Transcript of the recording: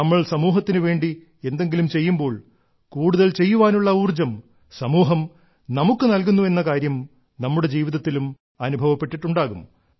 നമ്മൾ സമൂഹത്തിനു വേണ്ടി എന്തെങ്കിലും ചെയ്യുമ്പോൾ കൂടുതൽ ചെയ്യുവാനുള്ള ഊർജ്ജം സമൂഹം നമുക്ക് നൽകുന്നുവെന്ന കാര്യം നമ്മുടെ ജീവിതത്തിലും അനുഭവപ്പെട്ടിട്ടുണ്ടാകും